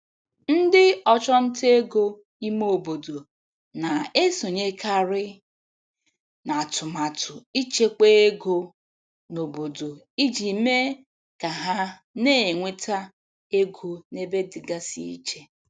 Ndị ọchụnta ego ime obodo na-esonyekarị n'atụmatụ ịchekwa ego n'obodo iji mee ka ha na-enweta ego n'ebe dịgasị iche.